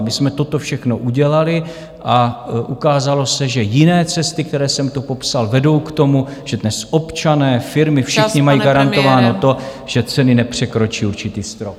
My jsme toto všechno udělali a ukázalo se, že jiné cesty, které jsem tu popsal, vedou k tomu, že dnes občané, firmy , všichni, mají garantováno to, že ceny nepřekročí určitý strop.